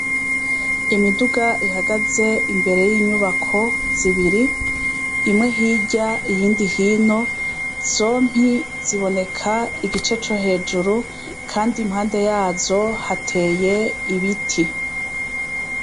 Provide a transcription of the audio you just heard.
Imiduga ihagaze imbere yinyubako zibiri imwe hirya iyindi hino zompi ziboneka igice co hejuru kandi impande yazo hateye ibiti